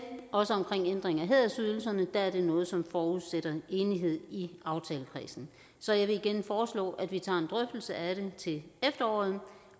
også omkring ændringen af hædersydelserne vil at det er noget som forudsætter enighed i aftalekredsen så jeg vil igen foreslå at vi tager en drøftelse af det til efteråret